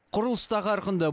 құрылыс та қарқынды